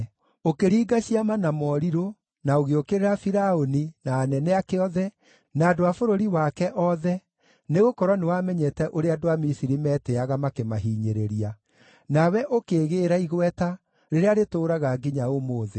Ũkĩringa ciama na morirũ, na ũgĩũkĩrĩra Firaũni, na anene ake othe, na andũ a bũrũri wake othe, nĩgũkorwo nĩwamenyete ũrĩa andũ a Misiri metĩĩaga makĩmahinyĩrĩria. Nawe ũkĩĩgĩĩra igweta, rĩrĩa rĩtũũraga nginya ũmũthĩ.